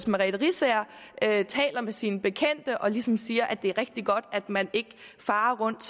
merete riisager taler med sine bekendte og ligesom siger at det er rigtig godt at man ikke farer rundt